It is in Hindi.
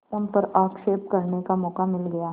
उन पर आक्षेप करने का मौका मिल गया